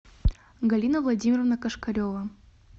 галина владимировна кошкарева